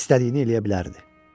İstədiyini eləyə bilərdi.